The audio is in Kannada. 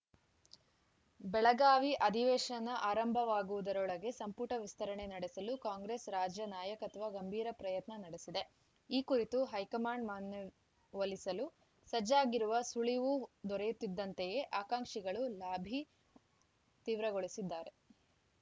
ಬೆಳಗಾವಿ ಅಧಿವೇಶನ ಆರಂಭವಾಗುವುದರೊಳಗೆ ಸಂಪುಟ ವಿಸ್ತರಣೆ ನಡೆಸಲು ಕಾಂಗ್ರೆಸ್‌ ರಾಜ್ಯ ನಾಯಕತ್ವ ಗಂಭೀರ ಪ್ರಯತ್ನ ನಡೆಸಿದೆ ಈ ಕುರಿತು ಹೈಕಮಾಂಡ್‌ ಮನ್ಯವೊಲಿಸಲು ಸಜ್ಜಾಗಿರುವ ಸುಳಿವು ದೊರೆಯುತ್ತಿದ್ದಂತೆಯೇ ಆಕಾಂಕ್ಷಿಗಳು ಲಾಬಿ ತೀವ್ರಗೊಳಿಸಿದ್ದಾರೆ